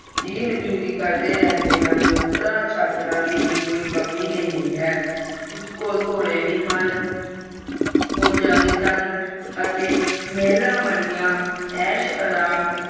ਜੀ ਹਜੂਰੀ ਕਰਦੇ ਰਹਿੰਦੇ ਹਨ ਨੌਕਰ ਚਾਕਰਾ ਦੀ ਵੀ ਕੋਈ ਕਮੀ ਨਹੀਂ ਹੈ ਉਸਕੋ ਘੋੜੇ ਵੀ ਹਨ ਫੋਜਾ ਵੀ ਸਨ ਅਤੇ ਮਹਿਲਾ ਵਰਗਾ ਐਸਾ ਰਾਮ